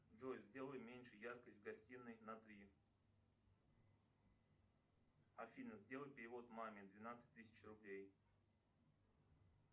джой сделай меньше яркость в гостиной на три афина сделай перевод маме двенадцать тысяч рублей